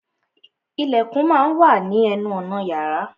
Ìlẹ̀kùn má a wà ní ní ẹnu ọ̀nà yàrá.